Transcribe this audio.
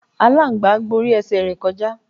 Aláǹgbá gborí ẹsẹ̀ rẹ̀ kọjá.